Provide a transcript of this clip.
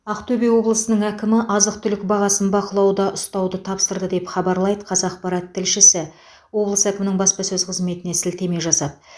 ақтөбе облысының әкімі азық түлік бағасын бақылауда ұстауды тапсырды деп хабарлайды қазақпарат тілшісі облыс әкімінің баспасөз қызметіне сілтеме жасап